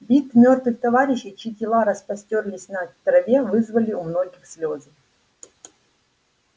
вид мёртвых товарищей чьи тела распростёрлись на траве вызвали у многих слезы